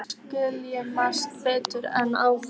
Nú skil ég margt betur en áður.